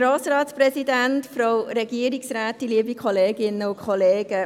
Grossrätin Hebeisen, Sie haben das Wort.